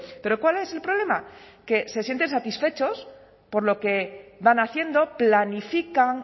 pero cuál es el problema que se sienten satisfechos por lo que van haciendo planifican